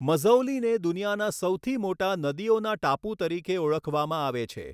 મઝૌલીને દુનિયાના સૌથી મોટા નદીઓના ટાપુ તરીકે ઓળખવામાં આવે છે.